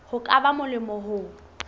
ho ka ba molemo ho